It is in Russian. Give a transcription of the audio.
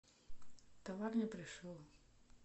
товар не пришел